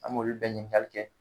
An m'olu bɛɛ ɲininkali kɛ.